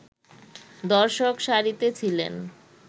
দর্শক সারিতে ছিলেন